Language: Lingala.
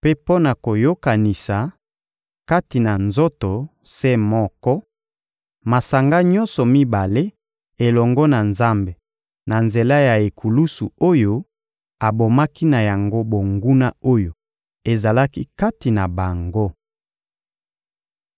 mpe mpo na koyokanisa, kati na nzoto se moko, masanga nyonso mibale elongo na Nzambe na nzela ya ekulusu oyo abomaki na yango bonguna oyo ezalaki kati na bango.